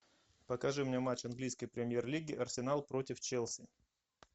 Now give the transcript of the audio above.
покажи мне матч английской премьер лиги арсенал против челси